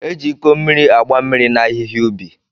E ji Iko mmiri agba mmiri na ahịhịa ubi.